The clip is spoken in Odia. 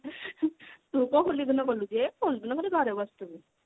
ତୁ କଣ ହୋଲି ଦିନ ଗଲୁ ଯେ ହୋଲି ଦିନ ଖାଲି ଘରେ ବସିଥିବୁ